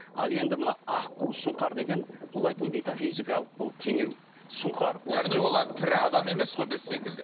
ал енді мына аққу сұңқар деген метафизикалық бұл теңеу сұңқар яғни олар тірі адам емес қой біз секілді